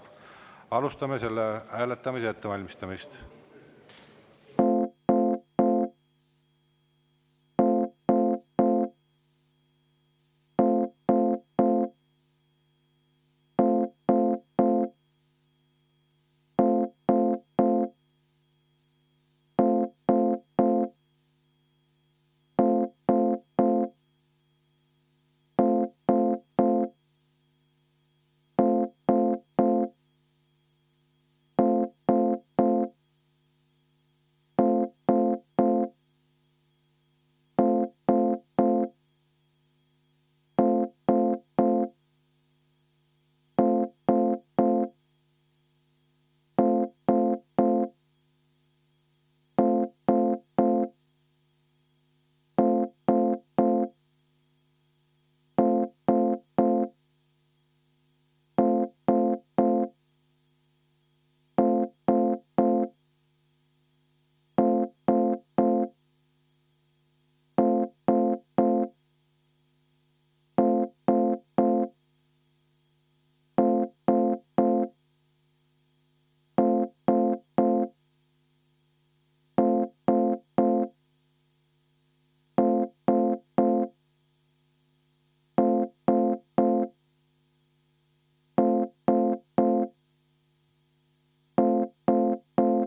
Alustame selle hääletamise ettevalmistamist.